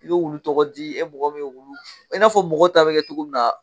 I y'o wulu tɔgɔ di e mɔgɔ min'u wulu i n'a fɔ mɔgɔ ta bɛ kɛ cogo min na.